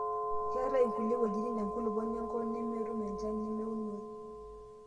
keetai inkulie wejitin tenkulupuoni enkop nemetum enchan nemeunoe